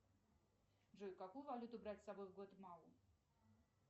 джой какую валюту брать с собой в гватемалу